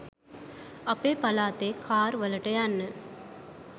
අපේ පලාතේ කාර් වලට යන්න